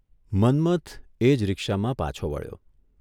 મન્મથ એ જ રિક્ષામાં પાછો વળ્યો.